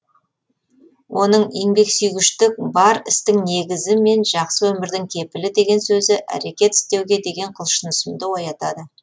оның еңбексүйгіштік бар істің негізі мен жақсы өмірдің кепілі деген сөзі әрекет істеуге деген құлшынысымды оятады